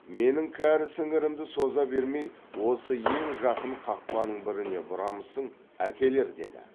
менің кәрі сіңірімді соза бермей осы ең жақын қақпаның біріне бұрамысың әкелер деді